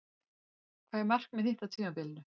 Hvað er markmið þitt á tímabilinu?